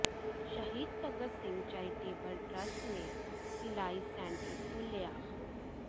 ਸ਼ਹੀਦ Bhagat Singh charitable trust ਨੇ ਸਿਲਾਈ ਸੈਂਟਰ ਖੋਲਿ੍ਹਆ